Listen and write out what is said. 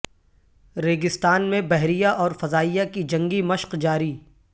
ریگستان میں بحریہ اور فضائیہ کی جنگی مشق جاری